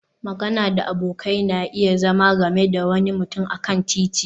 magana da abokai na iya zama game da wani mutum a kan titi